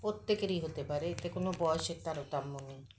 প্রত্যেকেরই হতে পারে এতে কোনো বয়সের তারতম্য নেই